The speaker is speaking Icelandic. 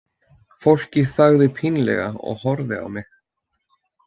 Fólkið þagði pínlega og horfði á mig.